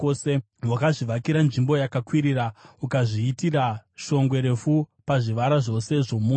wakazvivakira nzvimbo yakakwirira ukazviitira shongwe refu pazvivara zvose zvomusha.